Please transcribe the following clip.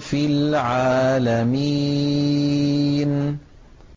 فِي الْعَالَمِينَ